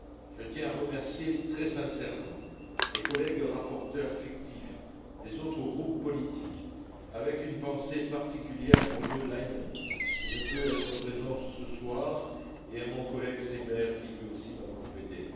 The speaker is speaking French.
Je tiens à remercier très sincèrement mes collègues rapporteurs fictifs des autres groupes politiques, avec une pensée particulière pour Jo Leinen, qui ne peut être présent ce soir, ainsi que mon collègue Seeber qui m'a aussi beaucoup aidé.